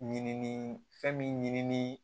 Ɲinini fɛn min ɲimini